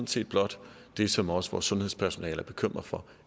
set blot det som også vores sundhedspersonale er bekymret for